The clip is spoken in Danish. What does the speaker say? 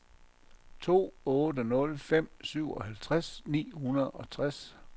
to otte nul fem syvoghalvtreds ni hundrede og tres